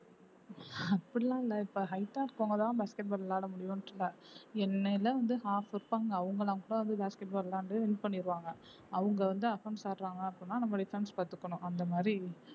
அப்படி எல்லாம் இல்லை இப்ப height ஆ இருக்கிறவங்க தான் basket ball விளையாட முடியும்ன்னுட்டு இல்லை என்னை எல்லாம் வந்து half வைப்பாங்க அவங்க எல்லாம் கூட வந்து basket ball விளையான்டு win பண்ணிடுவாங்க அவங்க வந்து offence ஆடுறாங்க அப்படின்னா நம்ம defence பாத்துக்கணும் அந்த மாதிரி